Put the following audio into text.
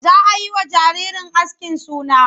Za a yi wa jaririn askin suna.